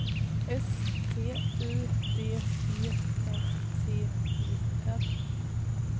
S T U D E N T E R